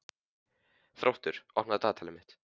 Þróttur, opnaðu dagatalið mitt.